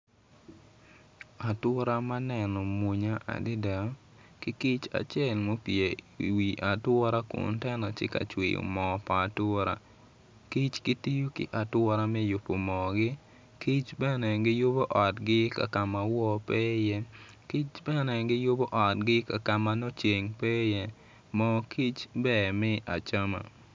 Atura ma neno mwonya adada ki kic acel ma opye iwi atura kun tye ka cwiyo moo pa atura kic gitiyo ki atura me yubo moogi kic bene giyubo moogi kakama wo pe iye kic bene giyubo otgi kakama nongo ceng pe iye moo kic ber me acama.